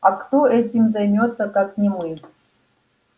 а кто этим займётся как не мы